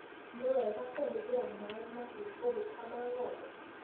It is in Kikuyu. Nĩ wega kũhũthĩra maĩ mahiũ ũgĩkama ng'ombe